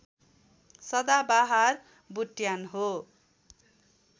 सदाबहार बुट्यान हो